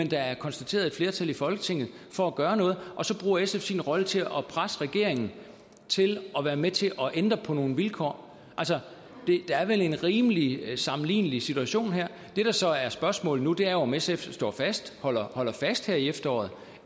der er konstateret et flertal i folketinget for at gøre noget og så bruger sf sin rolle til at presse regeringen til at være med til at ændre på nogle vilkår der er vel en rimelig sammenlignelig situation her det der så er spørgsmålet nu er jo om sf står fast holder holder fast her i efteråret